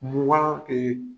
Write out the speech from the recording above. Mugan